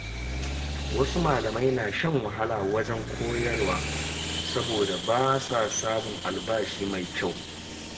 Wasu malamai na shan wahala wajen koyarwa saboda ba sa samun albashi mai kyau.